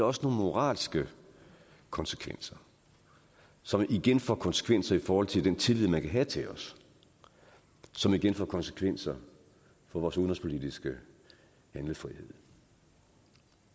også nogle moralske konsekvenser som igen får konsekvenser i forhold til den tillid man kan have til os som igen får konsekvenser for vores udenrigspolitiske handlefrihed